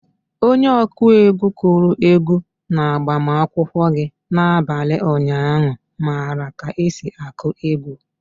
Onye ọkụ egwu kụrụ egwu na-agbamakwụkwọ gị na-abalị ụnyaahụ mara ka esi akụ egwu.